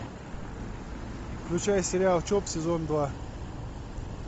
включай сериал чоп сезон два